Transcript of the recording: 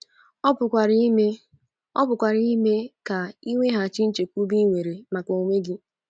Ọ pụkwara ime Ọ pụkwara ime ka i nweghachi nchekwube i nwere maka onwe gị.